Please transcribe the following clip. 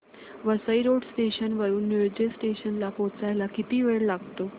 Vasai road station वरून Nilje station ला पोहचायला किती वेळ लागतो